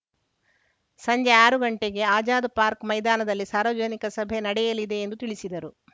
ಸಂಜೆ ಆರು ಗಂಟೆಗೆ ಆಜಾದ್‌ ಪಾರ್ಕ್ನ ಮೈದಾನದಲ್ಲಿ ಸಾರ್ವಜನಿಕ ಸಭೆ ನಡೆಯಲಿದೆ ಎಂದು ತಿಳಿಸಿದರು